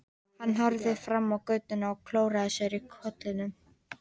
Hann horfði fram á götuna og klóraði sér í kollinum.